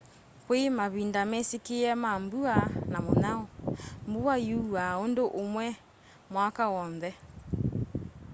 kui mavinda mesikie ma mbua na munyao mbua yuaa undu umwe mwaka wonthe